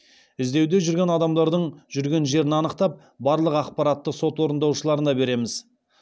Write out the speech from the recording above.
іздеуде жүрген адамдардың жүрген жерін анықтап барлық ақпаратты сот орындаушыларына береміз